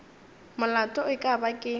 molato e ka ba ke